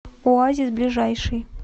оазис ближайший